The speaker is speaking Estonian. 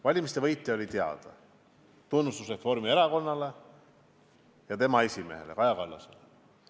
Valimiste võitja oli teada, tunnustus Reformierakonnale ja tema esimehele Kaja Kallasele.